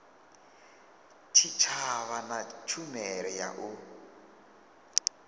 tshitshavha na tshumelo ya u